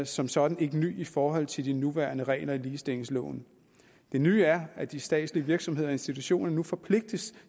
som sådan ikke ny i forhold til de nuværende regler i ligestillingsloven det nye er at de statslige virksomheder og institutioner nu forpligtes